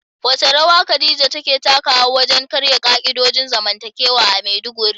Wace rawa Khadija ta taka wajen karya ka'idojin zamantakewa a Maiduguri?